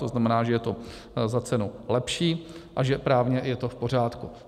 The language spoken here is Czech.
To znamená, že je to za cenu lepší a že právně je to v pořádku.